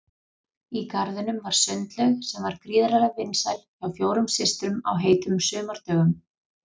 Í garðinum var sundlaug sem var gríðarlega vinsæl hjá fjórum systrum á heitum sumardögum.